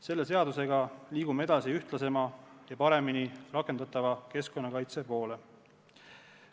Selle seadusega liigume edasi ühtlasema ja paremini rakendatava keskkonnakaitse poole.